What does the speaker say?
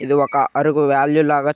ఇది ఒక అరుగు వేల్యూ లాగా--